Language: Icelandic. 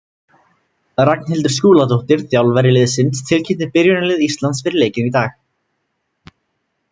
Ragnhildur Skúladóttir, þjálfari liðsins, tilkynnti byrjunarlið Íslands fyrir leikinn í dag.